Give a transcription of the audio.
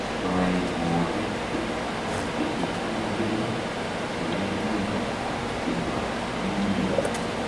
Istoe mooriik che itinygei, che mi ng'weny ak che ma iyii